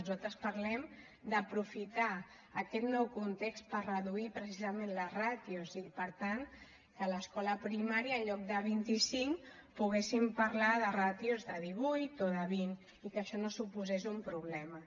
nosaltres parlem d’aprofitar aquest nou context per reduir precisament les ràtios i per tant que a l’escola primària en lloc de vint icinc poguéssim parlar de ràtios de divuit o de vint i que això no suposés un problema